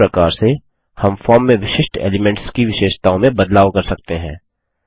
इस प्रकार से हम फॉर्म में विशिष्ट एलीमेंट्स की विशेषताओं में बदलाव कर सकते हैं